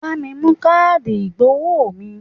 Bá mi mú káàdì ìgbowó mi!